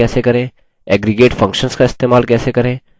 aggregate functions का इस्तेमाल कैसे करें